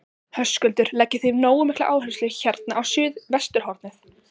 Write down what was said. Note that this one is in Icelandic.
Höskuldur: Leggið þið nógu mikla áherslu hérna á suðvesturhornið?